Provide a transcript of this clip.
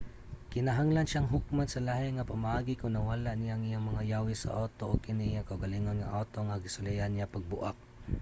kinahanglan siyang hukman sa lahi nga pamaagi kon nawala niya ang iyang mga yawi sa awto ug kini iyang kaugalingon nga awto nga gisulayan niya pagbuak